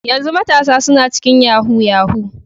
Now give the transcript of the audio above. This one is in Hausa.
Yanzu matasa suna cikin yahoo yahoo.